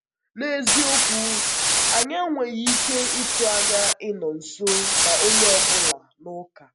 N’eziokwu, anyị enweghị ike ịtụ anya ịnọ nso na onye ọ bụla n’ụka.